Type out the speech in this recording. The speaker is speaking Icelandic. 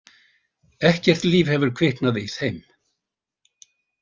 Ekkert líf hefur kviknað í þeim.